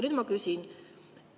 Nüüd ma küsin.